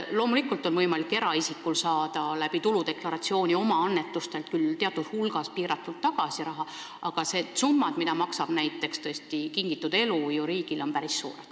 Loomulikult on võimalik eraisikul saada tuludeklaratsiooni esitamisega oma annetustelt teatud hulk raha tagasi, aga need summad, mida maksab näiteks Kingitud Elu riigile, on tõesti päris suured.